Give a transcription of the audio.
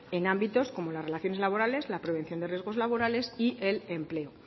en ámbitos como las relaciones laborales la prevención de riesgos laborales y el empleo